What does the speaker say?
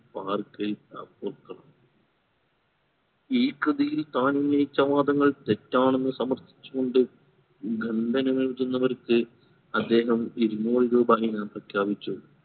വാർക്കേ ആ പോർക്കളം ഈ കൃതിയിൽ താൻ ഉന്നയിച്ച വാദങ്ങൾ തെറ്റാണെന്ന് സമ്മർത്തിച്ചു കൊണ്ട് ഗന്ധന നല്കുന്നവർക് അദ്ദേഹം ഇരുന്നൂർ രൂപ ഇനം പ്രഖ്യാപിച്ചു